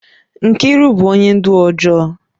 Mkiru bu onye ndu ojoo